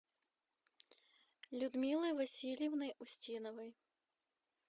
людмилой васильевной устиновой